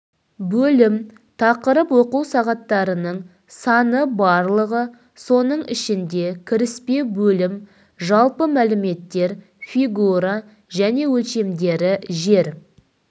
бөлім тақырып оқу сағаттарының саны барлығы соның ішінде кіріспе бөлім жалпы мәліметтер фигура және өлшемдері жер